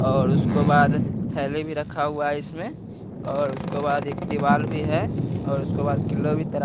और उसको बाद थैली भी रखा हुआ है इसमें और उसको बाद एक दीवाल भी है और उसको बाद किलो भी त --